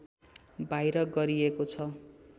बाहिर गरिएको छ